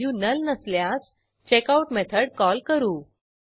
नंतर उपलब्ध प्रतींची संख्या अवेलेबल कॉपीज ह्या व्हेरिएबलमधे संचित करू